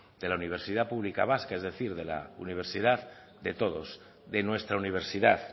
de la universidad pública vasca es decir de la universidad de todos de nuestra universidad